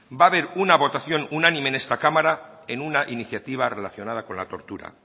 va haber una votación unánime en esta cámara en una iniciativa relacionada con la tortura